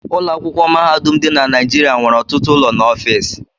Ụlọ akwụkwọ mahadum dị na Naịjịrịa nwere ọtụtụ ụlọ na ọfiisi.